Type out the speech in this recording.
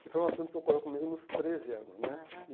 Que foi um assunto que ocorreu comigo nos treze anos, né? Aham.